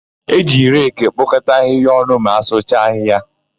E ji reki ekpokọta ahịhịa ọnụ ma asụcha ahịhịa.